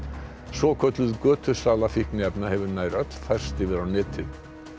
svokölluð fíkniefna hefur nær öll færst yfir á netið